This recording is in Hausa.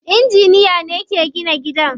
Inginiya ne yake gina gida.